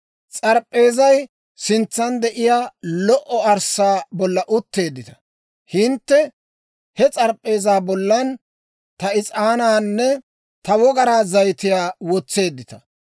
S'arp'p'eezay sintsan de'iyaa lo"o arssaa bolla utteeddita; hintte he s'arp'p'eeza bollan ta is'aanaanne ta wogaraa zayitiyaa wotseeddita.